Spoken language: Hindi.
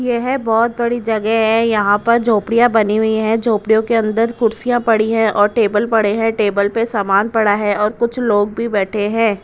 यह बहुत बड़ी जगह है यहां पर झोपड़ियां बनी हुई हैं झोपड़ियों के अंदर कुर्सियां पड़ी हैं और टेबल पड़े हैं टेबल पर सामान पड़ा है और कुछ लोग भी बैठे हैं।